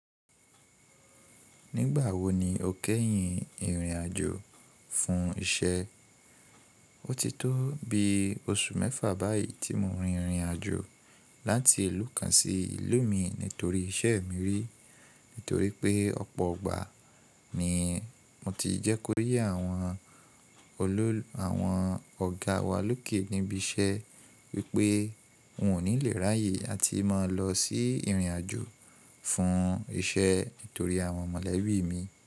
Nígbà wo ni o kẹ́yìn ìrìn àjò fún iṣẹ́? Ó ti tó bi oṣù mẹ́fà báyìí tí mo rin ìrìn àjò láti ìlú kan sí ìlú mi nítorí iṣẹ́ mi rí. Nítorí pé ọ̀pọ̀ ọgbà ni mo ti jẹ́ kó yé àwọn ọ̀gá wa lókè níbi iṣẹ́ wípé n ò ní le ráyè láti máa lọ sí ìrìn àjò fún iṣẹ́ nítorí àwọn mọ̀lẹ́bí mi.